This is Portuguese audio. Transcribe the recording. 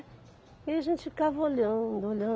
E a gente ficava olhando, olhando.